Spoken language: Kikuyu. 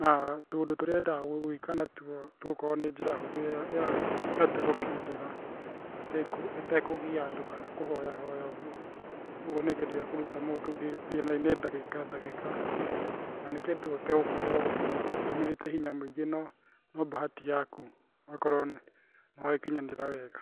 na tũũndũ tũrĩa endaga gwĩka natuo tũgũkorwo nĩ njĩra yatuo gũkinyĩra atekũgia andũ kana kũhoya hoya ũguo, ũguo nĩ kĩndũ gĩa kũruta mũndũ thĩna-inĩ ndagĩka ndagĩka na nĩ kĩndũ ũtagũkorwo ũtũmĩrĩte hinya mũingĩ no bahati yaku, ũgakorwo nĩ wakinyanĩra wega.